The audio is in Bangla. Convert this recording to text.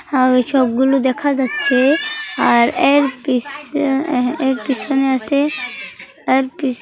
আর ওইসবগুলো দেখা যাচ্ছে আর এর পিছ-এ এর পিছনে আছে এর পিছ--